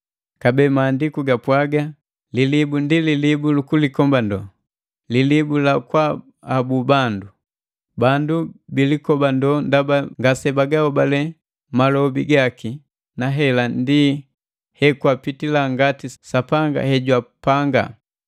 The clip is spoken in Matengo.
Kabee Maandiku gapwaga: “Lilibu ndi lilibu lukulikobando, lilibu la kwaahabu bandu.” Bandu bilikobandoo ndaba ngasebagahobale malobi gaki, na hela ndi hekwapitila ngati Sapanga hejwapanga.